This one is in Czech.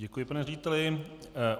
Děkuji, pane řediteli.